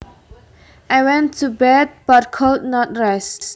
I went to bed but could not rest